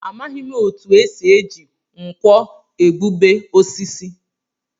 Amaghị m etu e si eji nkwọ egbube osisi